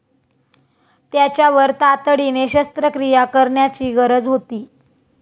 त्याच्यावर तातडीने शस्त्रक्रिया करण्याची गरज होती.